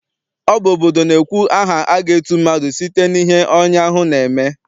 Ọ bụ obodo na-ekwu aha aga etu mmadụ site n'ihe onye ahụ na-eme.